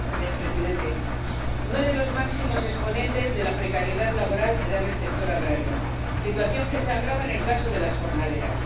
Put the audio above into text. Señor presidente, uno de los máximos exponentes de la precariedad laboral se da en el sector agrario, situación que se agrava en el caso de las jornaleras.